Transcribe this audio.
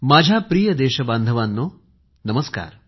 माझ्या प्रिय देश बांधवानो नमस्कार